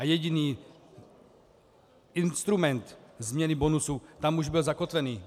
A jediný instrument změny bonusu tam už byl zakotvený.